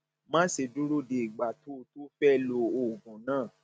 má ṣe dúró de ìgbà tó o tó o fẹ lo oògùn náà